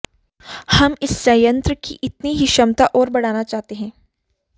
हम इस संयंत्र की इतनी ही क्षमता और बढ़ाना चाहते हैं